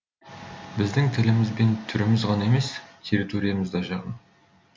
біздің тіліміз бен түріміз ғана емес территориямыз да жақын